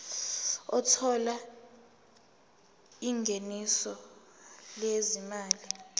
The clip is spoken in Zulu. othola ingeniso lezimali